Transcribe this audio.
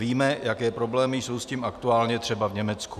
Víme, jaké problémy jsou s tím aktuálně třeba v Německu.